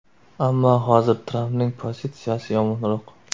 Ammo hozir Trampning pozitsiyasi yomonroq.